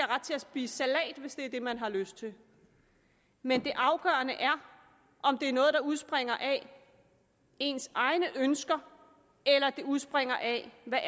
ret til at spise salat hvis det er det man har lyst til men det afgørende er om det er noget der udspringer af ens egne ønsker eller det udspringer af hvad